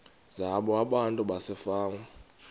zabo abantu basefama